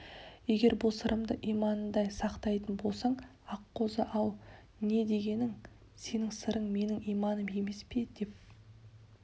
егер бұл сырымды иманыңдай сақтайтын болсаң аққозы-ау не дегенің сенің сырың менің иманым емес пе деп